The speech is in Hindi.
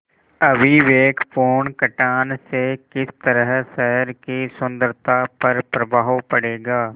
अविवेकपूर्ण कटान से किस तरह शहर की सुन्दरता पर प्रभाव पड़ेगा